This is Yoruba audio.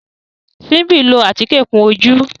Simbi ló atike kún ojú